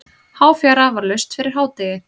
Háfjara var laust fyrir hádegi.